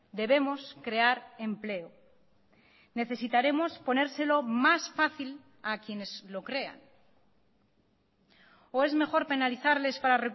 debemos crear empleo necesitaremos ponérselo más fácil a quienes lo crean o es mejor penalizarles para